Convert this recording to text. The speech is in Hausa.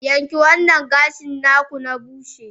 yanke wannan gashin ku na bushy!